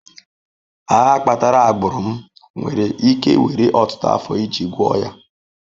Agha kpatara agbụrụ m nwere ike were ọtụtụ afọ iji gwọọ ya.